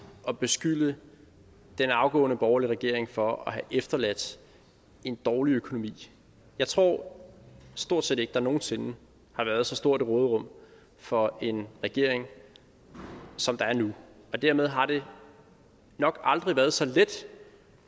at beskylde den afgåede borgerlige regering for at have efterladt en dårlig økonomi jeg tror stort set ikke at der nogen sinde har været så stort et råderum for en regering som der er nu og dermed har det nok aldrig været så let